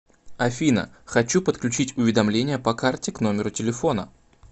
афина хочу подключить уведомления по карте к номеру телефона